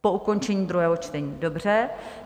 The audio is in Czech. Po ukončení druhého čtení, dobře.